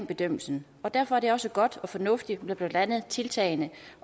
bedømmelsen og derfor er det også godt og fornuftigt med blandt andet tiltagene